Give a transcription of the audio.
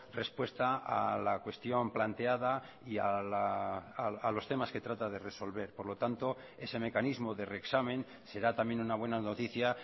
respuesta a la cuestión planteada y a los temas que trata de resolver por lo tanto ese mecanismo de reexamen será también una buena noticia